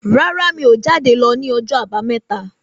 Rárá o jade lọ ni ọjọ abameta